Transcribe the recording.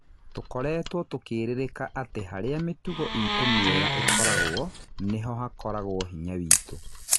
Tũkoretwo tũkĩririka atĩ harĩa mĩtugo itũ mwega ĩkoragwo nĩho hakoragwo hinya witũ.